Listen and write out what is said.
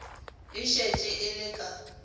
e šetše e le ka